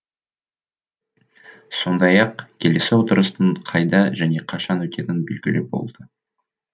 сондай ақ келесі отырыстың қайда және қашан өтетіні белгілі болды